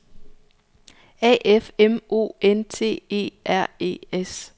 A F M O N T E R E S